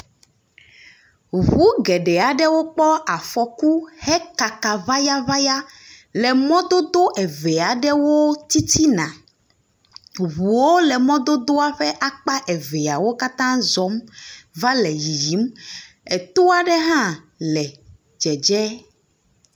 Ŋu geɖewo kpɔ afɔku hekaka ŋayaŋaya le mɔdodo eve aɖewo titina. Ŋuwo le mɔdodoa ƒe akpa eveawo katã va zɔm va le yiyim. Etoa ɖe hã le dzedze.